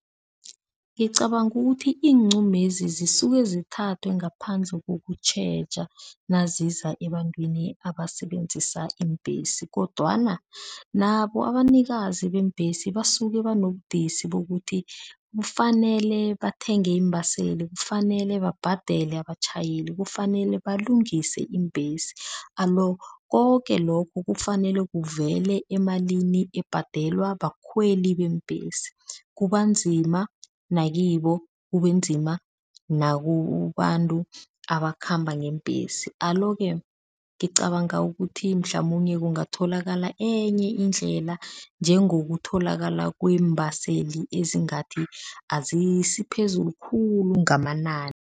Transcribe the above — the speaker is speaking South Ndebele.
Ngicabanga ukuthi iinqumezi zisuke zithathwe ngaphandle kokutjheja naziza ebantwini abasebenzisa iimbhesi kodwana nabo abanikazi beembhesi basuke banobudisi bokuthi kufanele bathenge iimbaseli, kufanele babhadele abatjhayeli, kufanele balungise iimbhesi alo koke lokhu kufanele kuvele emalini ebhadelwa bakhweli beembhesi, kubanzima nakibo kubanzima nakubantu abakhamba ngeembhesi. Alo-ke, ngicabanga ukuthi mhlamunye kungatholakala enye indlela njengokutholakala kweembhaseli ezingathi azisiphezulu khulu ngamanani.